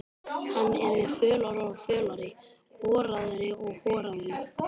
Hann yrði fölari og fölari, horaðri og horaðri.